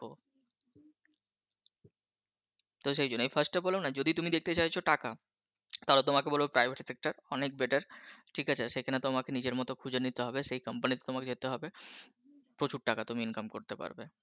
তো সেই জন্য আমি First বললাম না যদি তুমি দেখতে চাইছো টাকা তাহলে তোমাকে বলব Private Sector টা অনেক Better ঠিক আছে সেখানে তোমাকে নিজের মত খুঁজে নিতে হবে সেই Company তে তোমাকে যেতে হবে প্রচুর টাকা তুমি Income করতে পারবে।